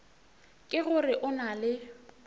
ke gore o na le